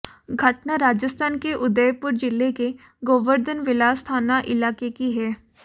घटना राजस्थान के उदयपुर जिले के गोवर्धन विलास थाना इलाके की है